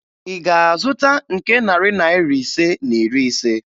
Ị ga-azụta nke narị Naira ise na iri ise?